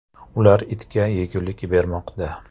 Ular itga yegulik bermoqda.